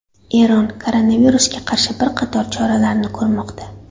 Eron koronavirusga qarshi bir qator choralarni ko‘rmoqda.